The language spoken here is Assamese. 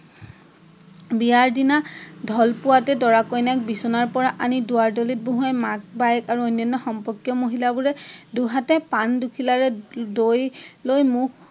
বিয়াৰ দিনা ঢল পোৱাতে দৰা কন্যাক বিচনাৰ পৰা আনি দুৱাৰ দলিত বহুৱাই মাক বাইক আৰু অন্যান্য সম্পৰ্কীয় মহিলাবোৰে দুহাতে পাণ দুখিলাৰে দৈ লৈ মুখ